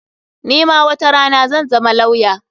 Ni ma watarana zan zama lawya.